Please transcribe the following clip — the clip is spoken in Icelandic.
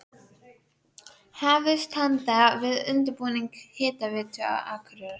Hafist handa við undirbúning Hitaveitu Akureyrar.